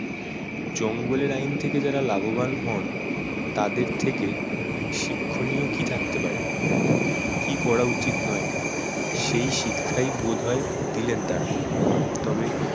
জঙ্গলের আইন থেকে যারা লাভবান হন তাদের থেকে শিক্ষণীয় কি থাকতে পারে? কি করা উচিৎ নয় সেই শিক্ষাই বোধ হয় দিলেন তারা। তবে